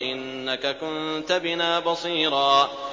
إِنَّكَ كُنتَ بِنَا بَصِيرًا